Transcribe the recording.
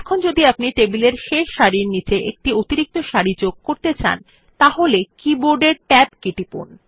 এখন যদি আপনি টেবিলের শেষ সারির নিচে একটি অতিরিক্ত সারি যোগ করতে চান তাহলে কি বোর্ডের ট্যাব কী টিপুন